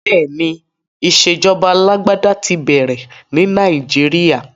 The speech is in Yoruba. Bẹ́ẹ̀ni, ìṣèjọba alágbádá ti bẹ̀rẹ̀ ní Nàìjíríà.